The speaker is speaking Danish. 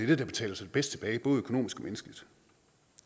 det der betaler sig bedst tilbage både økonomisk